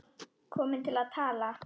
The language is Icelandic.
Komin til að tala.